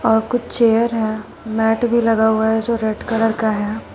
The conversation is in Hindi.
और कुछ चेयर है मैट भी लगा हुआ है जो रेड कलर का है।